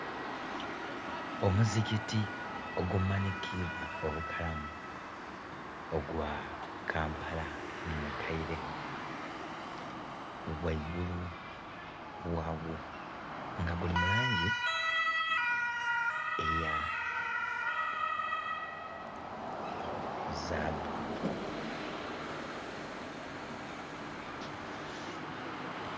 Omuzigiti ogumanikibwa obukalamu ogwa Kampala mukaire ghaigulu ghagwo nga guli mulangi eya zabu